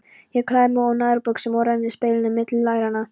Ég klæði mig úr nærbuxunum og renni speglinum milli læranna.